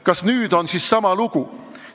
Kas nüüd on siis sama lugu?